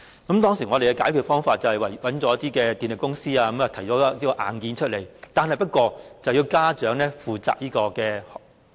為解決這個問題，我們當時委託一些電力公司提供硬件，電費卻要由家長負責。